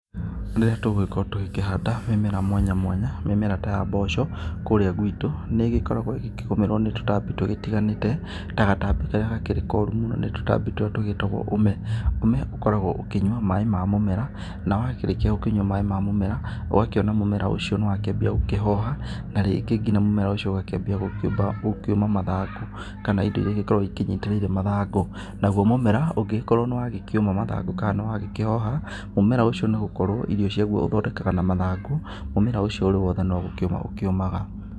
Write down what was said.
Rĩrĩa tũgũgĩkorwo tũkĩhanda mĩmera mwanya mwanya, mĩmera ta ya mboco kũrĩa gwitũ nĩ ĩgĩkoragwo ĩgikĩgũmirwo ni tũtambi tũgĩtĩganĩte ta gatambĩ karĩa gakĩrĩ korũ mũno ni tũtambĩ tũria tũgitagwo ũme, ũme ũkoragwo ũkĩnyũa maĩ ma mũmera na wakĩrikĩa gũkĩnyũa maĩ ma mũmera, ũgakĩona mũmera ucĩo nĩwakĩambĩa gũkĩhoha na rĩngĩ ngĩna mumera ucĩo ũgakĩanbĩa gukĩũma mathangũ kana ĩndo ĩrĩa ĩgĩkoragwo ĩkĩnyĩterĩĩre mathangũ, nagũo mũmera ũngĩgĩkorwo nĩwagĩkĩũma mathangũ ka nĩwagĩkĩhoha, mũmera ucĩo nĩũgũkorwo irĩo cĩagũo ũthondekaga na mathangũ, mũmera ũcio ũri wothe nũgĩkĩũma ũkĩũmaga